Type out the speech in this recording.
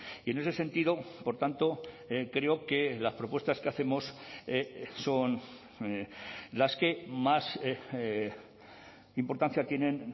y en ese sentido por tanto creo que las propuestas que hacemos son las que más importancia tienen